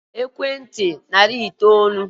ebe echere na-akpọ ụlọ na narị itoolu na ekwenti.